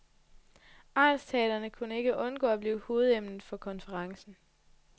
Egnsteatrene kan ikke undgå at blive hovedemnet for konferencen.